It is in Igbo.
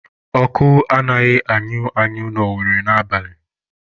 Ọkụ anaghịkwa anyụ anyụ na Owere n'abalị